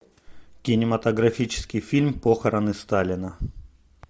кинематографический фильм похороны сталина